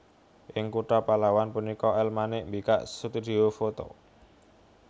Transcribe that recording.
Ing kutha Pahlawan punika El Manik mbikak studhio foto